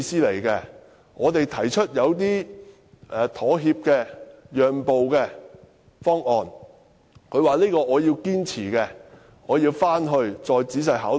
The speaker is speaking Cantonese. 當我們提出一些妥協或讓步方案時，他說要堅持自己的意見，要求回去再仔細考慮。